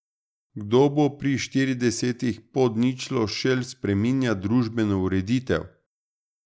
Kdo bo pri štiridesetih pod ničlo šel spreminjat družbeno ureditev?